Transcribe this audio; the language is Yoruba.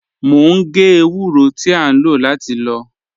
Mo ń gé èwúrọ̀ tí à nlọ láti lọ́.